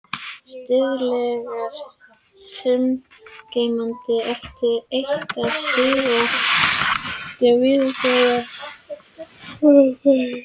Stöðugleiki sagngeymdarinnar er eitt af sígildum viðfangsefnum þjóðsagnafræðinga.